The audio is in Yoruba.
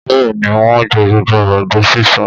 Bẹ́ẹ̀ ni, wọ́n jẹ gbogbo àgbàdo sísun.